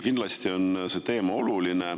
Kindlasti on see teema oluline.